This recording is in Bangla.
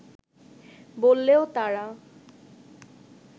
বললেও তারা